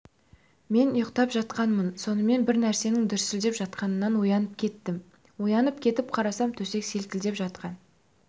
мен ұйықтап жатқанмын сонымен бір нәрсенің дүрсілдеп жатқанынан оянып кеттім оянып кетіп қарасам төсек селкілдеп жатқан